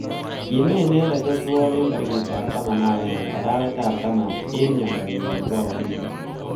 Kime inendet Othuol eng tarikit ab taman agenge arawet ab taman eng mnyendo nyi nekibo akilit.